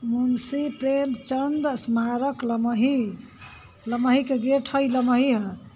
मुंसी प्रेम चंद स्मारक लमही लमही के गेट ह इ लमही ह।